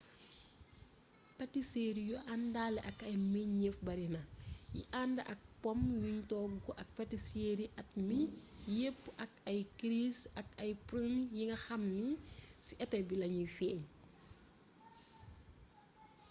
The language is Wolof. pâtisserie yu àndaale ak ay meññeef barina yi ànd ak pomme yuñ togg ak patisserie at mi yépp ak ay cerise ak ay prune yi nga xam ni ci été bi lañuy feeñ